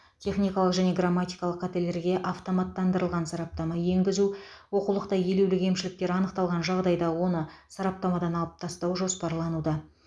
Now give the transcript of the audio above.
техникалық және грамматикалық қателерге автоматтандырылған сараптама енгізу оқулықта елеулі кемшіліктер анықталған жағдайда оны сараптамадан алып тастау жоспарлануда